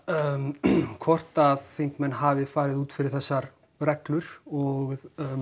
hvort að þingmenn hafi farið út fyrir þessar reglur og